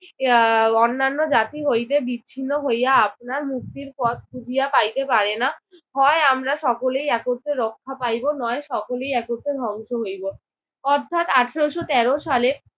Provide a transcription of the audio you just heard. আহ অন্যান্য জাতি হইতে বিচ্ছিন্ন হইয়া আপনার মুক্তির পথ খুঁজিয়া পাইতে পারে না। হয় আমরা সকলে একত্রে রক্ষা পাইব নয় সকলে একত্রে ধ্বংস হইব। অর্থাৎ আঠারশো তেরো সালে